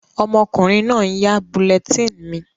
Ọmọkùnrin náà n yá bulletin mi